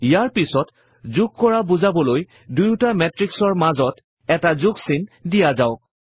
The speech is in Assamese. ইয়াৰ পাছত যোগ কৰা বুজাবলৈ দুয়ুটা মেত্ৰিক্সৰ মাজত এটা যোগ চিন দিয়া হওক